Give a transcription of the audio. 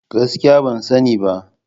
Gaskiya! Ban sani ba.